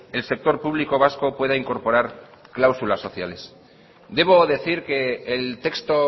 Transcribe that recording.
el sector público vasco pueda incorporar cláusulas sociales debo decir que el texto